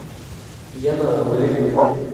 янауле